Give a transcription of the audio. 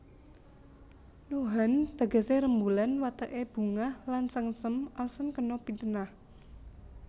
Nohan tegesé rembulan wateké bungah lan sengsem asan kena pitenah